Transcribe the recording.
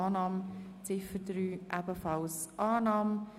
Ablehnung, Ziffer 2 und 3 Annahme.